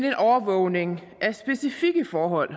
en overvågning af specifikke forhold